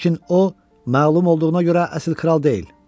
Lakin o, məlum olduğuna görə əsl kral deyil.